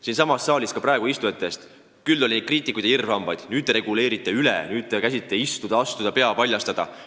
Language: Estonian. Siinsamas saalis praegu istujate hulgas oli kriitikuid ja irvhambaid: te reguleerite üle, te käsite istuda, astuda, pea paljastada.